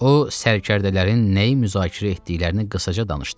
O, sərkərdələrin nəyi müzakirə etdiklərini qısaca danışdı.